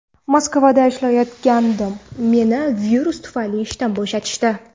Moskvada ishlayotgandim, meni virus tufayli ishdan bo‘shatishdi.